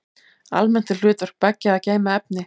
Almennt er hlutverk beggja að geyma efni.